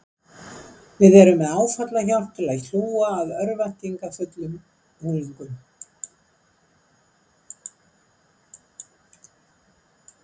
Við erum með áfallahjálp til að hlúa að örvæntingarfullum unglingum.